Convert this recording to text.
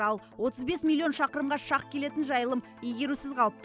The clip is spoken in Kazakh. ал отыз бес миллион шақырымға шақ келетін жайылым игерусіз қалыпты